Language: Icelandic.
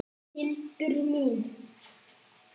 Hildur mín!